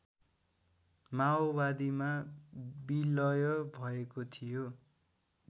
माओवादीमा बिलय भएको थियो